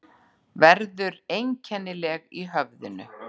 Verður einkennileg í höfðinu.